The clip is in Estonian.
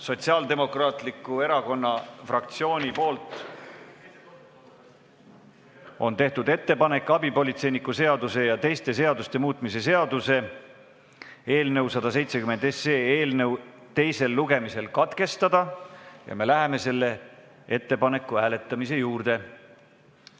Sotsiaaldemokraatliku Erakonna fraktsioon on teinud ettepaneku abipolitseiniku seaduse ja teiste seaduste muutmise seaduse eelnõu 170 teisel lugemisel katkestada ja me läheme selle ettepaneku hääletamise juurde.